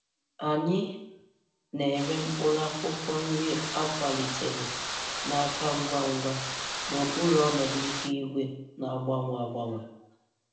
Anyị na-ere mkpụrụ akwụkwọ nri a kwalitere na-aka ngwa ngwa n'okpuru ọnọdụ ihu eluigwe na-agbanwe agbanwe.